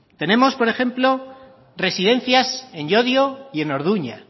tenemos por ejemplo presidencias en llodio y en orduña